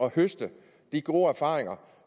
at høste de gode erfaringer